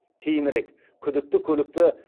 кейінірек күдікті көлікті